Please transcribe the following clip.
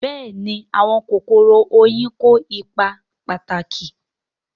Bẹ́ẹ̀ni àwọn kòkòrò oyin kó ipa pàtàkì